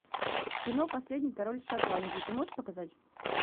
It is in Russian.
кино последний король шотландии ты можешь показать